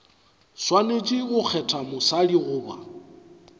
swanetše go kgetha mosadi goba